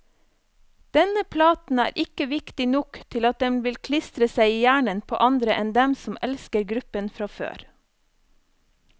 Denne platen er ikke viktig nok til at den vil klistre seg i hjernen på andre enn dem som elsker gruppen fra før.